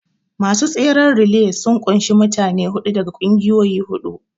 Masu tseren relay sun ƙunshi mutane huɗu daga ƙungiyoyi huɗu